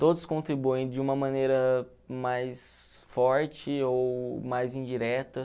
Todos contribuem de uma maneira mais forte ou mais indireta.